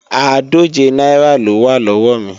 Àádòje náírà lówá lọ́wọ́ mi